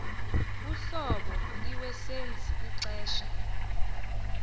uhlobo iwesenzi ixesha